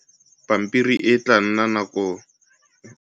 Pampiri e tlaa nna selo sa dinako tsa kgale.